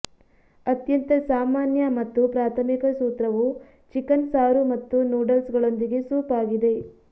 ಅತ್ಯಂತ ಸಾಮಾನ್ಯ ಮತ್ತು ಪ್ರಾಥಮಿಕ ಸೂತ್ರವು ಚಿಕನ್ ಸಾರು ಮತ್ತು ನೂಡಲ್ಸ್ಗಳೊಂದಿಗೆ ಸೂಪ್ ಆಗಿದೆ